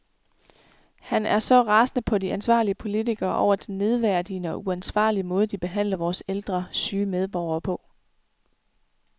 Han er så rasende på de ansvarlige politikere over den nedværdigende og uansvarlige måde de behandler vores ældre, syge medborgere på.